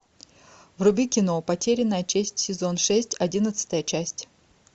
вруби кино потерянная честь сезон шесть одиннадцатая часть